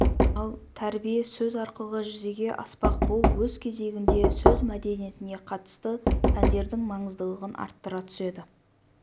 ал тәрбие сөз арқылы жүзеге аспақ бұл өз кезегінде сөз мәдениетіне қатысты пәндердің маңыздылығын арттыра түседі